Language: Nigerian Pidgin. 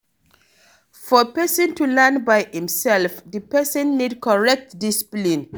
For person to learn by im self, di person need correct discipline